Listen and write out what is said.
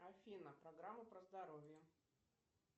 афина программа про здоровье